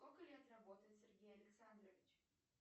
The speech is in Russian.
сколько лет работает сергей александрович